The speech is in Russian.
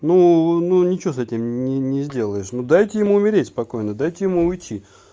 ну ну ничего с этим не не сделаешь ну дайте им умереть спокойно дайте ему уйти